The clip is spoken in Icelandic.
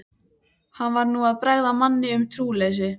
Hann var nú að bregða manni um trúleysi.